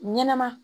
Ɲɛnɛma